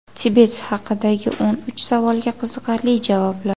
Tibet haqidagi o‘n uch savolga qiziqarli javoblar.